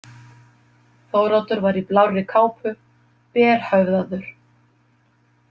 Þóroddur var í blárri kápu, berhöfðaður.